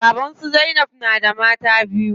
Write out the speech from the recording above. Baban su zainab na da mata biyu.